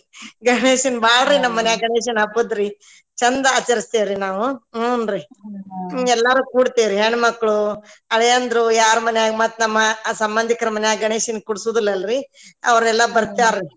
ಗಣೇಶಂದ ಬಾಳ್ರಿ ನಮ ಮನೇಲಿ ಗಣೇಶನ ಹಬ್ಬದ್ದ್ರಿ ಚಂದ ಆಚರಸ್ತೆವ್ರಿ ನಾವು ಹುನ್ರಿ ಎಲ್ಲಾರು ಕೂಡತೇವರಿ ಹೆಣ್ಣ ಮಕ್ಳು ಅಳಿಯಂದ್ರು ಯಾರ ಮನ್ಯಾಗ ಮತ್ತ ನಮ ಸಂಬಂಧಿಕರ ಮನ್ಯಾಗ ಗಣೇಶನ ಕುಡಸುದಲ್ಲ ಅಲ್ರಿ ಅವ್ರೆಲ್ಲಾ ಬರ್ತಾರ ರೀ.